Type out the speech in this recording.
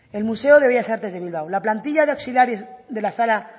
el museo de bellas artes de bilbao la plantilla de auxiliares de la sala